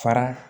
Fara